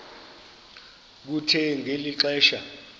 kuthe ngeli xesha